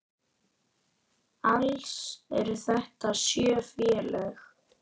Alls eru þetta sjö félög.